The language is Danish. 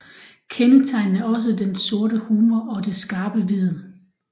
Kendetegnende er også den sorte humor og det skarpe vid